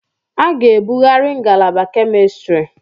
A ga-ebughari ngalaba Kemistri.